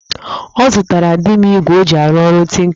Ọ zụtara di m igwe o ji arụ ọrụ tinka ya